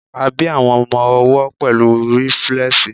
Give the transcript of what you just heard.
a bi àwọn ọmọ owó pẹlu riflesi